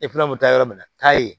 bɛ taa yɔrɔ min na k'a ye